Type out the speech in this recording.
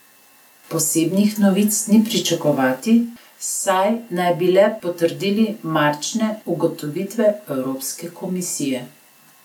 Posebnih novic ni pričakovati, saj naj bi le potrdili marčne ugotovitve Evropske komisije.